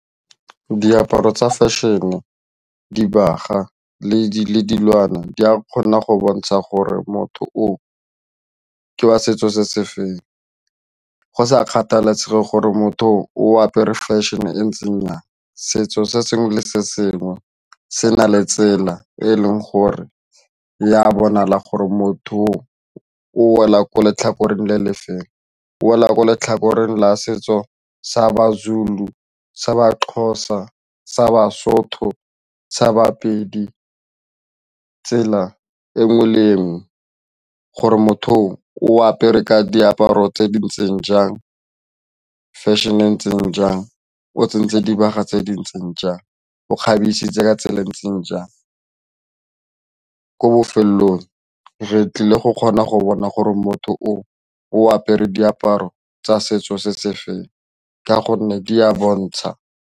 Diaparo tsa fashion-e, dibagwa le dilwana di a kgona go bontsha gore motho o ke wa setso se se feng go sa kgathalesege gore motho o apere fashion e ntseng yang. Setso se sengwe le sengwe se na le tsela e e leng gore ya bonala gore motho oo o wela ko letlhakoreng le le feng, o wela ko letlhakore la setso sa baZulu, sa baXhosa, sa baSotho, sa baPedi tsela e nngwe le e nngwe gore motho oo o apere ka diaparo tse dintseng jang fashion e ntseng jang o tsentse dibaga tse di ntseng jang o kgabisa ditsela tse di ntseng jang ko bofelelong re tlile go kgona go bona gore motho o o apere diaparo tsa setso se se feng ka gonne di a bontsha